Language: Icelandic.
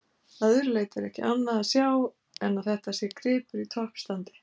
Að öðru leyti ekki annað að sjá en að þetta sé gripur í toppstandi.